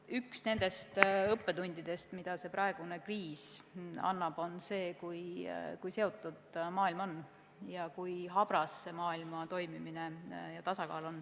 Üks nendest õppetundidest, mida praegune kriis annab, on see, kui seotud on maailm ning kui habras on maailma toimimine ja tasakaal.